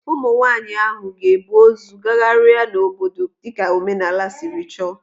Ụmụ nwaanyị ahụ ga-ebu ozu gagharia n'obodo dịka omenala siri chọọ.